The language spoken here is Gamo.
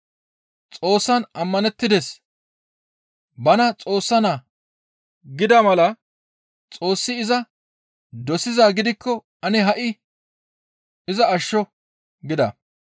Xoossan ammanettides; bana Xoossa Naa gida mala Xoossi iza dosizaa gidikko ane ha7i iza ashsho» gida.